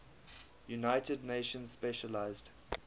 united nations specialized